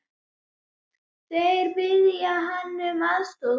Þeir biðja hann um aðstoð.